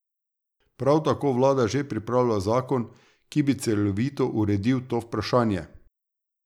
Prav tako vlada že pripravlja zakon, ki bi celovito uredil to vprašanje.